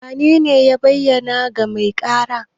Wanene ya bayyana ga mai ƙara?